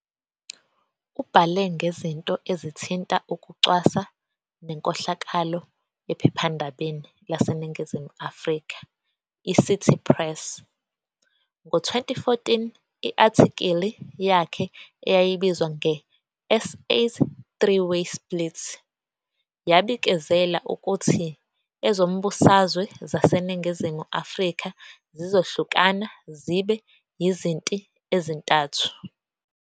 Ubhale ngezinto ezithinta ukucwasa nenkohlakalo ephephandabeni laseNingizimu Afrika iCity Press. Ngo-2014, i-athikili yakhe eyayibizwa nge- "SA's Three-Way Split" yabikezela ukuthi ezombusazwe zaseNingizimu Afrika zizohlukana zibe yizinti ezintathu.